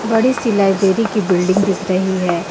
बड़ी सी लाइब्रेरी की बिल्डिंग दिख रही हैं.